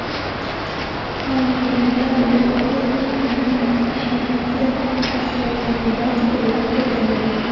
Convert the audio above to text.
Farmonda yuqori likvidli mahsulotlarning barcha turlari keltirilmagan.